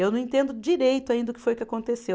Eu não entendo direito ainda o que foi que aconteceu.